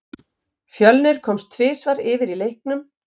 Fjölnir komst tvisvar yfir í leiknum.